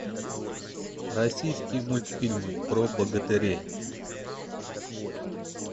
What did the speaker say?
российские мультфильмы про богатырей